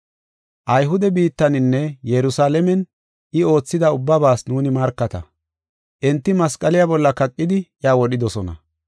“Ayhude biittaninne Yerusalaamen I oothida ubbabaas nuuni markata. Enti masqaliya bolla kaqidi iya wodhidosona.